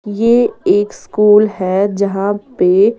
ये एक स्कूल है जहाँ पे --